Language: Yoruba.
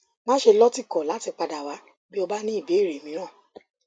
máṣe lọtìkọ láti padà wá bí o bá ní ìbéèrè mìíràn